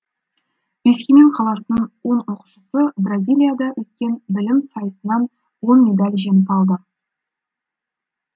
өскемен қаласының он оқушысы бразилияда өткен білім сайысынан он медаль жеңіп алды